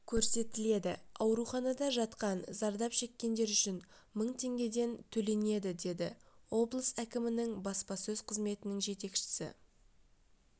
көрсетіледі ауруханада жатқан зардап шеккендер үшін мың теңгеден төленеді деді облыс әкімінің баспасөз қызметінің жетекшісі